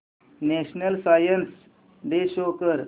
national science day show कर